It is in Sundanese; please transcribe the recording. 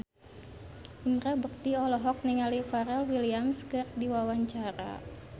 Indra Bekti olohok ningali Pharrell Williams keur diwawancara